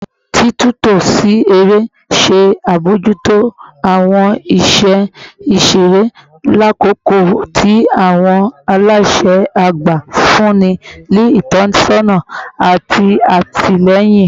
Titunto si ere n ṣe abojuto awọn iṣẹ iṣere, lakoko ti awọn alaṣẹ agba nfunni ni itọsọna ati atilẹyin